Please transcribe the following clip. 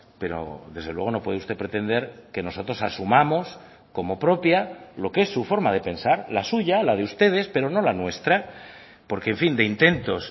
pero desde luego no puede usted pretender que nosotros asumamos como propia lo que es su forma de pensar la suya la de ustedes pero no la nuestra porque en fin de intentos